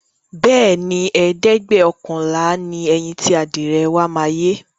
Bẹẹni, ẹ̀ẹ́dẹ́gbẹ́ọ̀kànlá ni ẹyin ti adìẹ wa máa yé